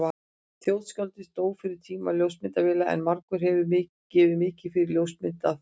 Þjóðskáldið dó fyrir tíma ljósmyndavéla en margur hefði gefið mikið fyrir ljósmynd af því.